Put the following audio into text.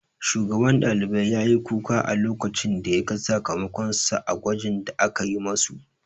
Shugaban ɗalibai ya yi kuka a lokacin da ya ga sakamakon sa a gwajin da akayi ma su